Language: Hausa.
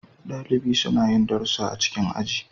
Dalibi suna yin darussa a cikin aji.